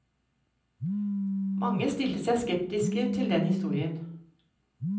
Mange stilte seg skeptiske til den historien.